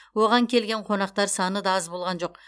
оған келген қонақтар саны да аз болған жоқ